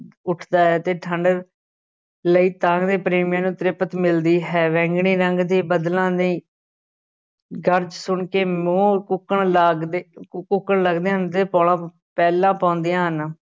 ਉੱਠਦਾ ਹੈ ਤੇ ਠੰਢ ਲਈ ਤਾਂਘਦੇ ਪ੍ਰੇਮੀਆਂ ਨੂੰ ਤ੍ਰਿਪਤ ਮਿਲਦੀ ਹੈ, ਵੈਂਗਣੀ ਰੰਗ ਦੇ ਬੱਦਲਾਂ ਨੇ ਗਰਜ ਸੁਣ ਕੇ ਮੋਰ ਕੂਕਣ ਲਗਦੇ ਕੂਕਣ ਲੱਗਦੇ ਹਨ ਤੇ ਪੋਲਾਂ ਪੈਲਾਂ ਪਾਉਂਦੇ ਹਨ।